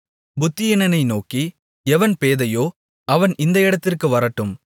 புத்தியீனனை நோக்கி எவன் பேதையோ அவன் இந்த இடத்திற்கு வரட்டும்